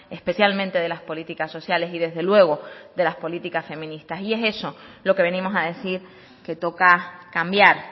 especialmente de las políticas sociales y desde luego de las políticas feministas y es eso lo que venimos a decir que toca cambiar